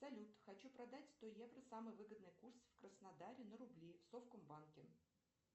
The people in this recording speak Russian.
салют хочу продать сто евро самый выгодный курс в краснодаре на рубли в совкомбанке